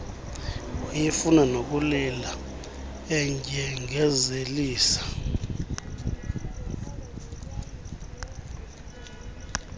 wayefuna nokulila endyengezelisa